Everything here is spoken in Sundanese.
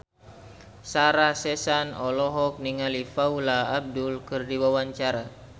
Sarah Sechan olohok ningali Paula Abdul keur diwawancara